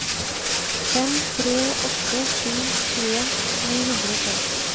fem tre åtte sju tjueen ni hundre og tolv